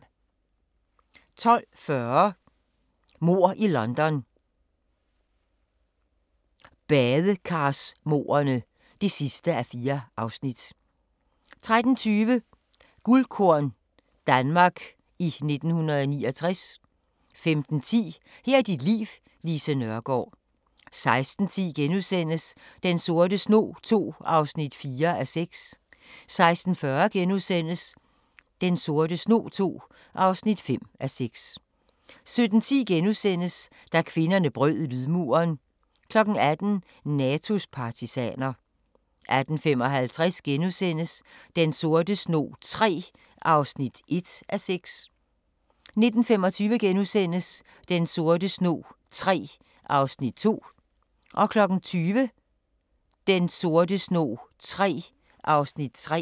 12:40: Mord i London – badekarsmordene (4:4) 13:20: Guldkorn - Danmark i 1969 15:10: Her er dit liv: Lise Nørgaard 16:10: Den sorte snog II (4:6)* 16:40: Den sorte snog II (5:6)* 17:10: Da kvinderne brød lydmuren * 18:00: Natos partisaner 18:55: Den sorte snog III (1:6)* 19:25: Den sorte snog III (2:6)* 20:00: Den sorte snog III (3:6)